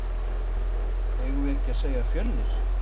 Eigum við ekki að segja Fjölnir?